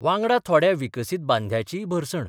वांगडा थोड्या विकसीत बाद्यांचीय भरसण.